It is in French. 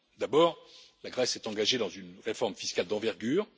D'abord, la Grèce s'est engagée dans une réforme fiscale d'envergure.